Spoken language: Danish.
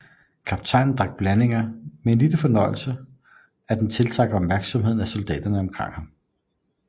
Kaptajnen drak blandingen med en sådan fornøjelse at det tiltrak opmærksomheden af soldaterne omkring ham